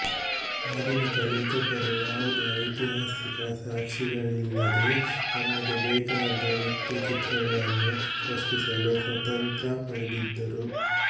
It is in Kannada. ಆಧುನಿಕ ಲೇಖಕರು ಯಾವುದೇ ಐತಿಹಾಸಿಕ ಸಾಕ್ಷಿಗಳಿಲ್ಲದೆ ತಮಗೆ ಬೇಕಾದ ವ್ಯಕ್ತಿಚಿತ್ರಗಳನ್ನು ಸೃಷ್ಟಿಸಲು ಸ್ವಾತಂತ್ರ ಪಡೆದಿದ್ದರು